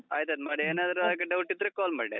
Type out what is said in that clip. ಆಯ್ತಾಯ್ತು, ಮಾಡಿ. ಏನಾದ್ರೂ ಹಾಗೆ doubt ಇದ್ರೇ call ಮಾಡಿ ?